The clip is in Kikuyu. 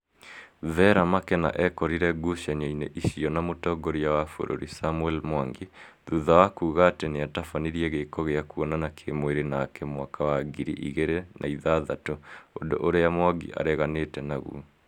Vera Makena ekorire ngucanio-inĩ icio na mũtongoria wa bũrũri Samuel Mwangi thutha wa kuga atĩ nĩatabanirie gĩko gĩa kuonana kĩmwĩrĩ nake mwaka wa ngiri igĩrĩ na ithathatũ ũndũ ũrĩa Mwangi areganĩte naguo